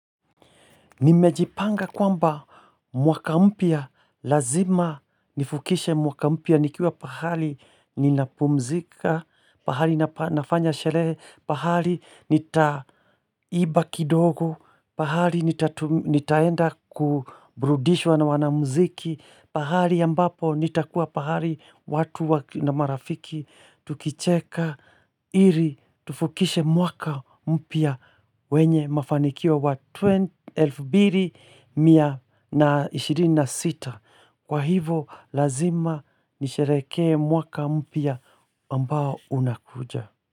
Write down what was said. Nimejipanga kwamba mwaka mpya, lazima nifukishe mwaka mpya, nikiwa pahali ninapumzika, pahali nafanya sherehe, pahali nitaiba kidogo, pahali nitaenda kuburudishwa na wanamuziki, pahali ambapo nitakuwa pahali watu na marafiki, Tukicheka iri tufukishe mwaka mpya wenye mafanikio wa 2026 Kwa hivo lazima nisherehekee mwaka mpya ambao unakuja.